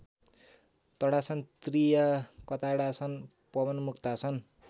ताडासन त्रीयकताडासन पवनमुक्तासन